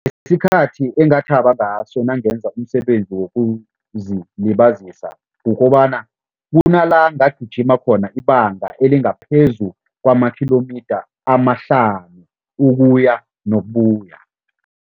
Isikhathi engathaba ngaso nangenza umsebenzi wokuzilibazisa, kukobana kunala ngagijima khona ibanga elingaphezu kwama-kilometre amahlanu, ukuya nokubuya.